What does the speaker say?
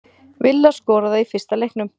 Villa skoraði í fyrsta leiknum